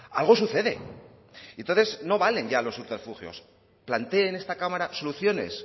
algo sucede y entonces no valen ya los subterfugios plantee en esta cámara soluciones